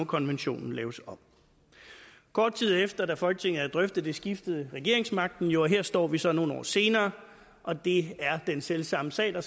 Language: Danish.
konventionen laves om kort tid efter at folketinget havde drøftet det skiftede regeringsmagten jo og her står vi så nogle år senere og det er den selv samme sag der